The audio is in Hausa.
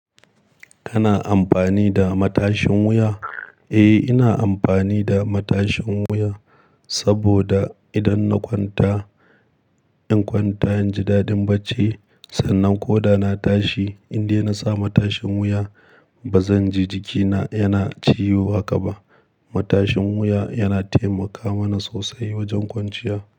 Kana amfani da matashin wuya? Eh, ina amfani da matashin wuya saboda idan na kwanta inkwanta inji dadin bacci sannan ko da na tashi in dai na sa matashin wuya ba zan ji jikina yana ciwo haka ba. Matashin wuya yana taimaka mana sosai wajan kwanciya.